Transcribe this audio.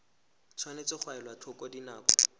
tshwanetse ga elwa tlhoko dinako